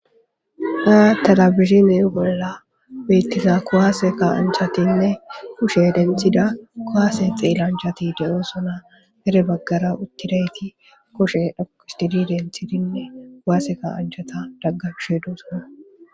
haya talabihzine bolla beettiza kowaase ka anchatinne kushe denthida kowaase xeellanchati de7osona mere baggara uttirayti koshe dhokistidi denthidinne kowaase ka anchata dagga fshe duusona